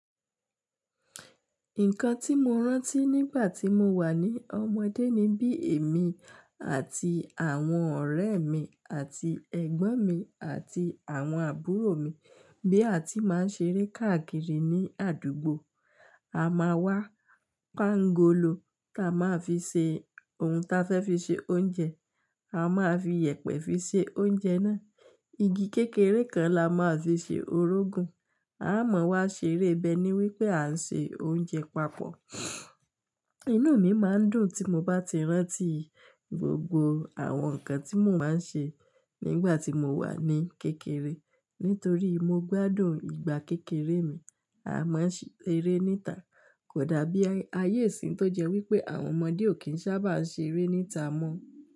Nǹkan tí mo rántí nígbà tí mo wà ní ọmọdé ni bí èmi àti àwọn ọ̀rẹ́ mi àti ẹ̀gbọ́n mi àti àwọn àbúrò mi, bí a ti máa ń ṣe eré káàkiri ní àdúgbò. A máa wá pángolo ta máa fi ṣe ohun ta fẹ́ fi ṣe oúnjẹ, a máa fi yèpẹ̀ fi ṣe oúnjẹ náà. Igi kékeré kan la máa fi ṣe orógun. A a máa wá ṣeré bẹ́ ní wípé a ń ṣe oúnjẹ papọ̀ Ìnú mi máa ń dùn tí mo bá ti rántí gbogbo àwọn nǹkan tí mò ma ń ṣe nígbà tí mo wà ní kékeré. Nítorí mo gbádùn ìgbà kékeré mi, a máa ń ṣe eré níta. Kò dàbí ayé ìsín tó jẹ́ wípé àwọn ọmọdé ò kí ń sábà ṣe eré níta mọ́.